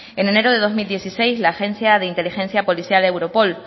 en enero de dos mil dieciséis la agencia de inteligencia policial europol